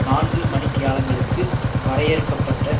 நான்கு மணி தியாலங்களுக்கு வரையறுக்க பட்ட